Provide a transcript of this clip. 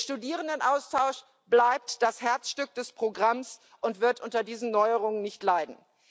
Der Studierendenaustausch bleibt das Herzstück des Programms und wird unter diesen Neuerungen nicht leiden.